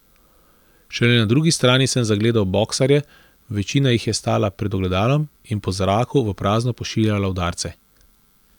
Šele na drugi strani sem zagledal boksarje, večina jih je stala pred ogledalom in po zraku v prazno pošiljala udarce.